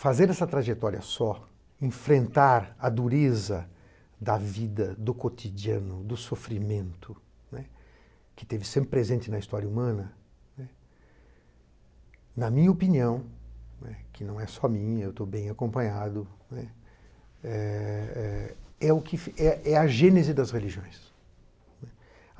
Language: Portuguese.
Fazer essa trajetória só, enfrentar a dureza da vida, do cotidiano, do sofrimento, né, que esteve sempre presente na história humana, né, na minha opinião, que não é só minha, eu estou bem acompanhado, né, eh eh é o que fi, é é a gênese das religiões.